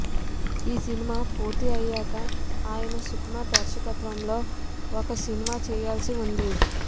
ఈ సినిమా పూర్తి అయ్యాక ఆయన సుకుమార్ దర్శకత్వంలో ఒక సినిమా చేయాల్సి ఉంది